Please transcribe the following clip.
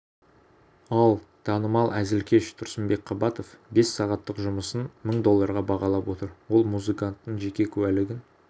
ал танымал әзілкеш тұрсынбек қабатов бес сағаттық жұмысын мың долларға бағалап отыр ол музыканттың жеке куәлігін